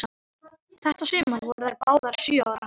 Þetta sumar voru þær báðar sjö ára.